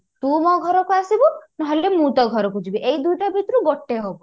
ତୁ ମୋ ଘରକୁ ଆସିବୁ ନହେଲେ ମୁଁ ତୋ ଘରକୁ ଯିବୀ ଏଇ ଦୁଇଟା ଭିତରୁ ଗୋଟେ ହବ